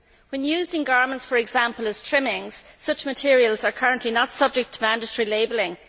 When used in garments, for example as trimmings, such materials are currently not subject to mandatory labelling